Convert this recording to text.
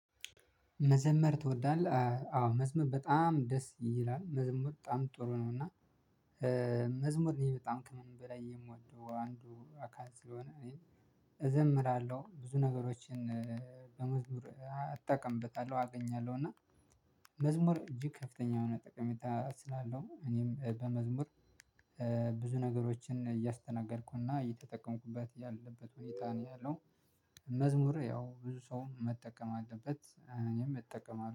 መዘመር ትወዳለህ? አዎ መዝሙር በጣም ደስ ይላል። መዝሚር በጣም ጥሩ ነው። እና መዝሙር እኔ በጣም ከምንም በላይ የምወደው አንዱ አካል ስለሆነ እኔ እዘምራለሁ። ብዙ ነገሮችን በመዝሙር አጠቀምበታለሁ። አገኛለሁ። እና መዝሙር እጅግ ከፍተኛ የሆነ ጠቀሜታ ስላለው እኔም በመዝሙር ብዙ ነገሮችን እያስተናገርኩና እየተጠቀምኩበት ያለበት ሁኔታ ነው ያለው። መዝሙር ያው ብዙ ሰው መጠቀም አለበት። እኔም እጠቀማለሁ።